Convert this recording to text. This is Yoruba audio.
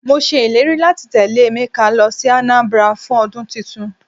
Mọ sé ìlérí láti tẹ́lẹ̀ Emeka lọ sí Anambra fún ọdún tuntun.